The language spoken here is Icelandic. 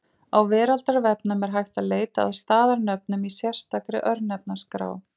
Á Veraldarvefnum er hægt að leita að staðarnöfnum í sérstakri Örnefnaskrá.